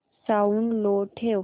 sound लो ठेव